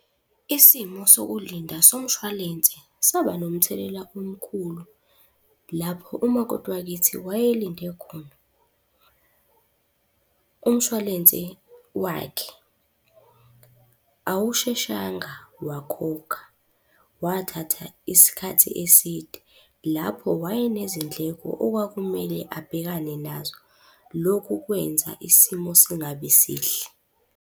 Isimo sokulinda somshwalense, saba nomthelela omkhulu lapho umakoti wakithi wayelinde khona. Umshwalense wakhe awusheshanga wakhokha, wathatha isikhathi eside. Lapho wayenezindleko okwakumele abhekane nazo. Lokhu kwenza isimo singabi sihle.